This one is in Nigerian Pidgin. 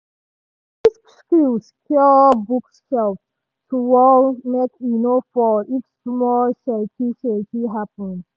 e use screw secure bookshelf to wall make e no fall if small shakey-shakey happen.